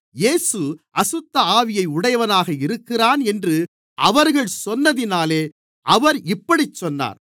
இயேசு அசுத்தஆவியை உடையவனாக இருக்கிறான் என்று அவர்கள் சொன்னதினாலே அவர் இப்படிச் சொன்னார்